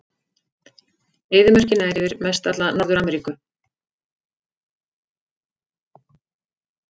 Eyðimörkin nær yfir mestalla Norður-Afríku.